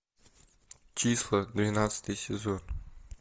числа двенадцатый сезон